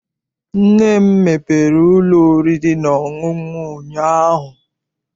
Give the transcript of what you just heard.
Nne m mepere ụlọ oriri na ọṅụṅụ ụnyaahụ.